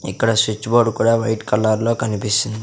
ఇక్కడ switch board కూడా white colour లో కనిపిస్తుం --